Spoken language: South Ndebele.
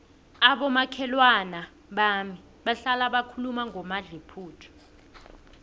abomakhelwana bami bahlala bakhuluma ngomadluphuthu